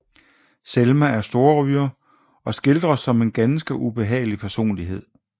Selma er storryger og skildres som en ganske ubehagelig personlighed